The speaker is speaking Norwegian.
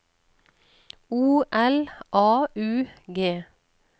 O L A U G